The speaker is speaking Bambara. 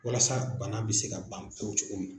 Walasa bana bi se ka ban pewu cogo min na.